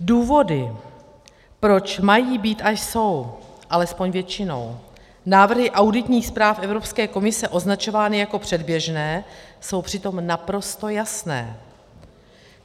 Důvody, proč mají být a jsou, alespoň většinou, návrhy auditních zpráv Evropské komise označovány jako předběžné, jsou přitom naprosto jasné.